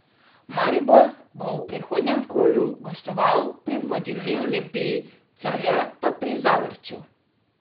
Maribor bo v prihodnjem kolu gostoval pri vodilni Olimpiji, Celje pa pri Zavrču.